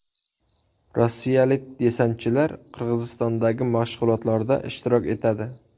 Rossiyalik desantchilar Qirg‘izistondagi mashg‘ulotlarda ishtirok etadi.